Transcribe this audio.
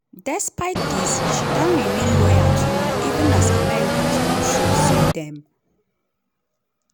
despite dis she don remain loyal to am even as americans don show say dem